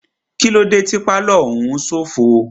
Kílódé tí pálọ̀ òún ṣófo?